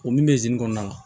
O min bɛ kɔnɔna na